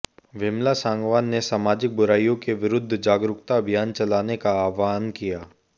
विमला सांगवान ने सामाजिक बुराइयों के विरुद्ध जागरूकता अभियान चलाने का आह्वान किया